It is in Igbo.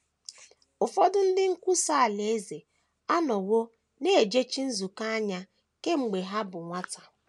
Ụfọdụ ndị nkwusa Alaeze anọwo na - ejechi nzukọ anya kemgbe ha bụ nwata.